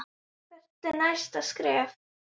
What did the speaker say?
Hvert er næsta skref?